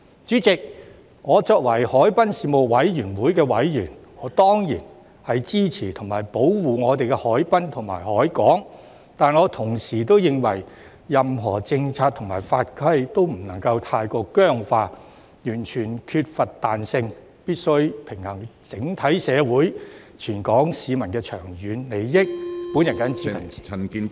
主席，作為海濱事務委員會委員，我當然支持保護我們的海濱和海港，但我同時認為，任何政策和法規均不能太過僵化，完全缺乏彈性，必須平衡整體社會和全港市民的長遠利益，我謹此陳辭。